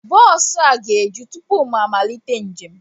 Bọọsu a ga-eju tụpụ mụ amalite njem